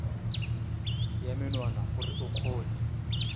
ya menwana gore o kgone